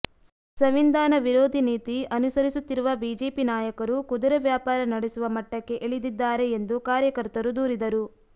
ಸಂವಿಧಾನ ವಿರೋಧಿ ನೀತಿ ಅನುಸರಿಸುತ್ತಿರುವ ಬಿಜೆಪಿ ನಾಯಕರು ಕುದುರೆ ವ್ಯಾಪಾರ ನಡೆಸುವ ಮಟ್ಟಕ್ಕೆ ಇಳಿದಿದ್ದಾರೆ ಎಂದು ಕಾರ್ಯಕರ್ತರು ದೂರಿದರು